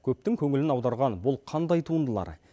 көптің көңілін аударған бұл қандай туындылар